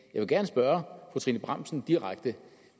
vil gerne spørge fru trine bramsen direkte